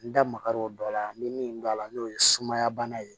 N da magar'o dɔ la n bɛ min dɔn a la n'o ye sumaya bana ye